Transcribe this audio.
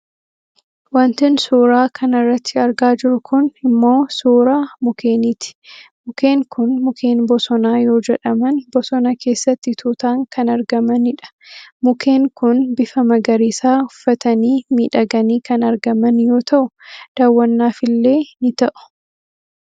Wantin suuraa kanarratti argaa jiru kun ammoo suuraa mukeeniiti mukeen kun mukeen bosonaa yoo jedhaman bosona keesaatti tuutaan kan argamanidha. Mukeen kun bifa magariisaa ufftaanii miidhaganii kan argaman yoo ta'u daawwannaafillee ni ta'u.